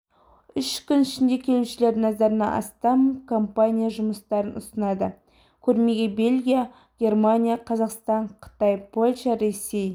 үш күн ішінде келушілердің назарына астам компания жұмыстарын ұсынады көрмеге бельгия германия қазақстан қытай польша ресей